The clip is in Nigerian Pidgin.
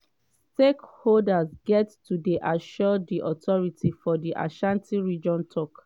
stakeholders get to dey assured” di authority for di ashanti region tok.